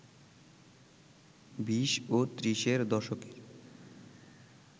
বিশ ও ত্রিশের দশকের